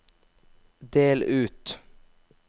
del ut